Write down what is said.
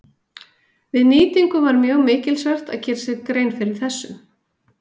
Við nýtingu var mjög mikilsvert að gera sér grein fyrir þessu.